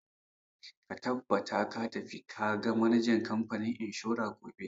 Ka tabbata ka tafi ka ga manajan kamfanin inshora gobe!